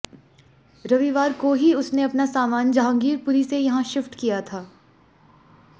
रविवार को ही उसने अपना सामान जहांगीर पुरी से यहां शिफ्ट किया था